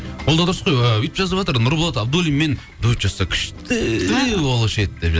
ол да дұрыс қой ы өйтіп жазыватыр нұрболат абдуллинмен дуэт жазса күшті болушы еді деп